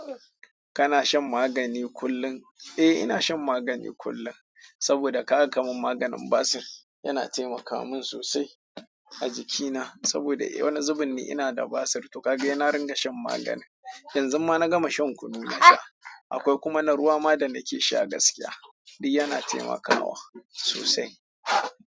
Kana shan magani kullum? Eh ina shan magani kullum, saboda ka ga kaman maganin basir. Yana taimaka min sosai a jikina saboda wani zubun ne ina da basir, to ka ga yana ringa shan magani. Yanzu ma na gama shan kunu na yau, akwai kuma na ruwa ma da nake sha gaskiya. Duk yana taimakawa sosai.